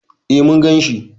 E, mun gan shi.